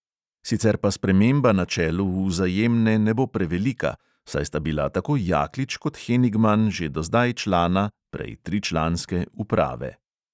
Sicer pa sprememba na čelu vzajemne ne bo prevelika, saj sta bila tako jaklič kot henigman že do zdaj člana (prej tričlanske) uprave.